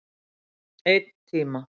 Einn tíma.